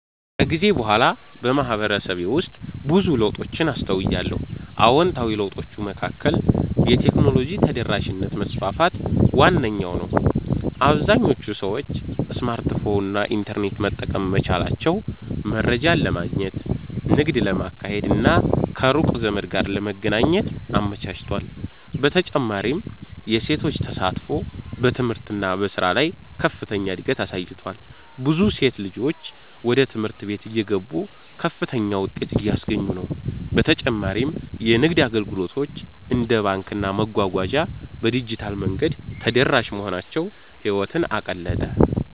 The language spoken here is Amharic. ከጊዜ በኋላ በማህበረሰቤ ውስጥ ብዙ ለውጦችን አስተውያለሁ። አዎንታዊ ለውጦቹ መካከል የቴክኖሎጂ ተደራሽነት መስፋፋት ዋነኛው ነው - አብዛኞቹ ሰዎች ስማርትፎን እና ኢንተርኔት መጠቀም መቻላቸው መረጃን ለማግኘት፣ ንግድ ለማካሄድ እና ከሩቅ ዘመድ ጋር ለመገናኘት አመቻችቷል። በተጨማሪም የሴቶች ተሳትፎ በትምህርት እና በሥራ ላይ ከፍተኛ እድገት አሳይቷል፤ ብዙ ሴት ልጆች ወደ ትምህርት ቤት እየገቡ ከፍተኛ ውጤት እያስገኙ ነው። በተጨማሪ የንግድ አገልግሎቶች እንደ ባንክና መጓጓዣ በዲጂታል መንገድ ተደራሽ መሆናቸው ህይወትን አቀለጠ።